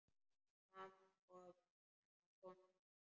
Mamma hennar komin.